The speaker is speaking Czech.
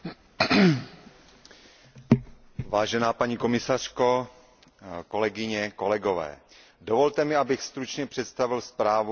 Vážená paní komisařko, kolegyně a kolegové, dovolte mi, abych stručně představil zprávu o městské dimenzi politiky soudržnosti.